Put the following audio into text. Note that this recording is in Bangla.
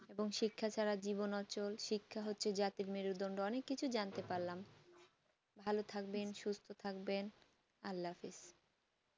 এবং শিক্ষা ছাড়া জীবন অচল শিক্ষা হচ্ছে জাতির মেরুদণ্ড অনেক কিছু যানতে পারলাম ভালো থাকবেন সুস্থ থাকবেন আল্লা হাফিজ